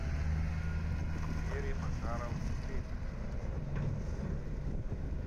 вере макаровне клепиковой